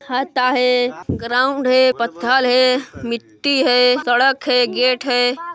हे ground हे पत्थर हे मिट्टी हे सड़क हे गेट है।